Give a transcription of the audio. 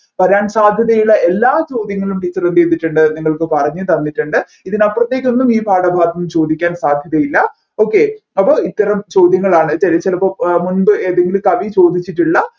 വരാൻ സാധ്യതയുള്ള എല്ലാ ചോദ്യങ്ങളും teacher എന്ത് ചെയ്തിട്ടുണ്ട് നിങ്ങൾക്ക് പറഞ്ഞുതന്നിട്ടുണ്ട് ഇതിനപ്പുറത്തേക്കൊന്നും ഈ പാഠഭാഗത്ത് നിന്ന് ചോദിക്കാൻ സാധ്യതയില്ല okay അപ്പൊ ഇത്തരം ചോദ്യങ്ങളാണ് ചിലപ്പോ മുൻപ് ഏതെങ്കിലും കവി ചോദിച്ചിട്ടുള്ള